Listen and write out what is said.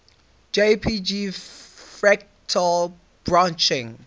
jpg fractal branching